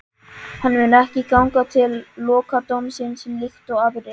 Hann mun ekki ganga til lokadómsins líkt og aðrir.